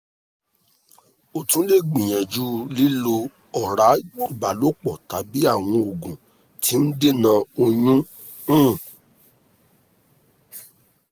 o tun le gbiyanju lilo ora ibalopo tabi awọn ogun ti n dena oyun um